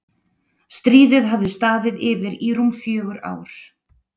stríðið hafði staðið yfir í rúm fjögur ár